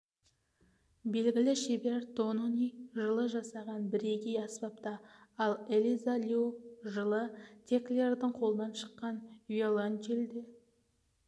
белгілі шебер тонони жылы жасаған бірегей аспапта ал элиза лью жылы теклердің қолынан шыққан виолончельде